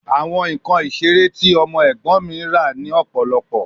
Awọn nkan isere ti ọmọ ẹgbọn mi ra ni ọpọlọpọ